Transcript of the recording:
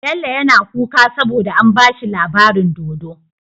Bello yAna kuka saboda an bashi labarin dodo